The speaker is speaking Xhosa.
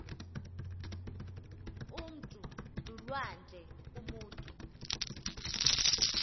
umntu lulwandle umutu